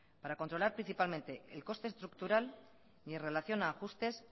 para controlar principalmente el coste estructural y en relación a ajustes